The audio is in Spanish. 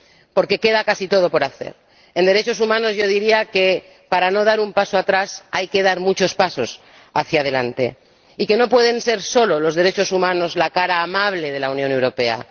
Porque queda casi todo por hacer. En derechos humanos yo diría que, para no dar un paso atrás, hay que dar muchos pasos hacia delante y que los derechos humanos no pueden ser solo la cara amable de la Unión Europea.